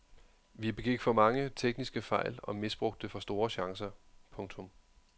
Vi begik for mange tekniske fejl og misbrugte for store chancer. punktum